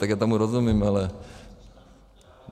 Tak já tomu rozumím, ale...